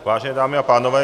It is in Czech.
Vážené dámy a pánové.